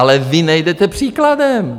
Ale vy nejdete příkladem.